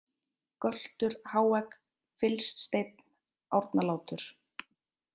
Göltur, Háegg, Fylssteinn, Árnalátur